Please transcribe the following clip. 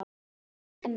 Ást, Megan.